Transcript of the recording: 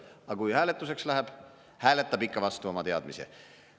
Aga kui hääletuseks läheb, hääletab ikka vastu oma teadmise.